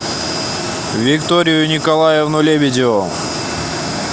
викторию николаевну лебедеву